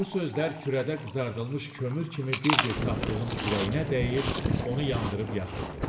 Bu sözlər kürədə qızardılmış kömür kimi bir-bir tapdığın ürəyinə dəyir, onu yandırıb yaxırdı.